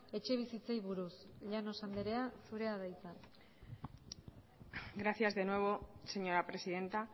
etxebizitzei buruz llanos anderea zurea da hitza gracias de nuevo señora presidenta